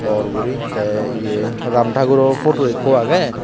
bor guri tey iye ramthakuro photo ekko agye.